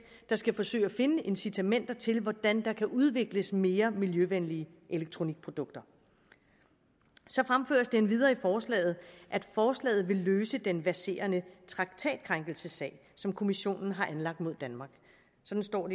der skal forsøge at finde incitamenter til hvordan der kan udvikles mere miljøvenlige elektronikprodukter så fremføres det endvidere i forslaget at forslaget vil løse den verserende traktatkrænkelsessag som kommissionen har anlagt mod danmark sådan står